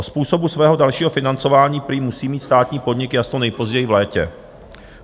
O způsobu svého dalšího financování prý musí mít státní podnik jasno nejpozději v létě.